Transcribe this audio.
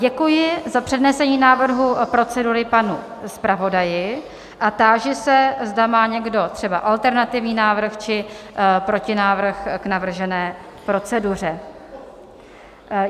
Děkuji za přednesení návrhu procedury panu zpravodaji a táži se, zda má někdo třeba alternativní návrh či protinávrh k navržené proceduře?